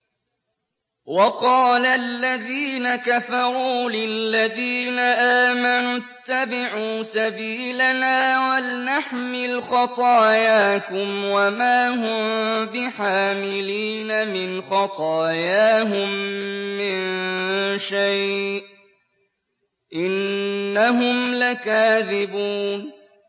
وَقَالَ الَّذِينَ كَفَرُوا لِلَّذِينَ آمَنُوا اتَّبِعُوا سَبِيلَنَا وَلْنَحْمِلْ خَطَايَاكُمْ وَمَا هُم بِحَامِلِينَ مِنْ خَطَايَاهُم مِّن شَيْءٍ ۖ إِنَّهُمْ لَكَاذِبُونَ